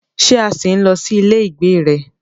Ṣé a ṣì ń lọ sí ilé ìgbé rẹ?